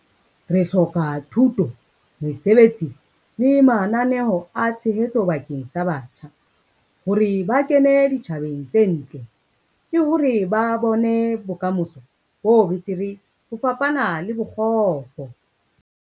Re hloka thuto, mesebetsi le mananeo a tshehetso bakeng sa batjha, hore ba kene ditjhabeng tse ntle ke hore ba bone bokamoso bo betere ho fapana le bokgopo.